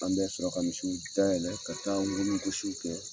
An bɛ sɔrɔ ka misiw dayɛlɛ ka taa ŋunugosi kɛ.